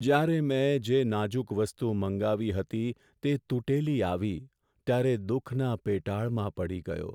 જ્યારે મેં જે નાજુક વસ્તુ મંગાવી હતી તે તૂટેલી આવી ત્યારે દુખના પેટાળમાં પડી ગયો.